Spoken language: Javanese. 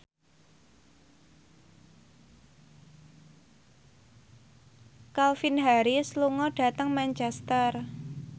Calvin Harris lunga dhateng Manchester